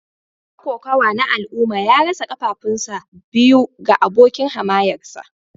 Dan kokawa na al'umma ya rasa kafafunsa biyu ga abokin hamayyarsa